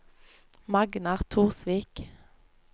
Magnar Torsvik